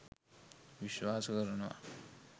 විශ්වාස කරනවා